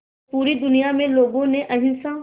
पूरी दुनिया में लोगों ने अहिंसा